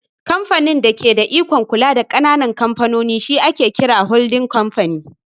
Kamfanin da ke da ikon kula da ƙananan kamfanoni shi ake kira "Holdin Kamfani"